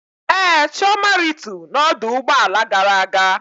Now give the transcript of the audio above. Ee, Chioma rịtu na ọdụ ụgbọ ala gara aga